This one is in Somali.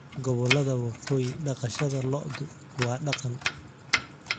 Gobollada waqooyi dhaqashada lo'du waa dhaqan.